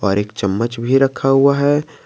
और एक चम्मच भी रखा हुआ है।